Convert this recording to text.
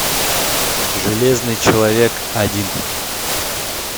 железный человек один